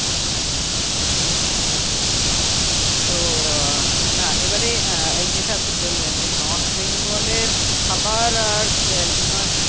আচ্ছা আচ্ছা আচ্ছা তো না এবারে উম যেটা আপনি বললেন যে north bengal এর খাবার আর হিমা